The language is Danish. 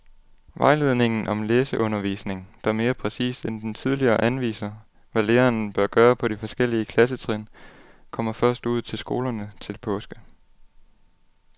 Vejledningen om læseundervisning, der mere præcist end den tidligere anviser, hvad læreren bør gøre på de forskellige klassetrin, kommer først ud til skolerne til påske.